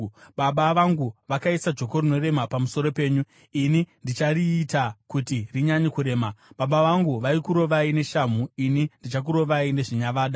Baba vangu vakaisa joko rinorema pamusoro penyu; ini ndichariita kuti rinyanye kurema. Baba vangu vaikurovai neshamhu; ini ndichakurovai nezvinyavada.’ ”